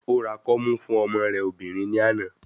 Ó ra kọ́mú fún ọmọ rẹ̀ obìnrin ní àná.